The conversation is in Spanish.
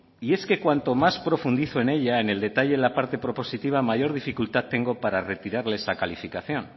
y es que cuanto más profundizó en ella en el detalle de la parte propositiva mayor dificultad tengo para retirarle esa calificación